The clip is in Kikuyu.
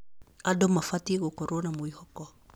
Andũ mabatiĩ gũkorwo na mwĩhoko.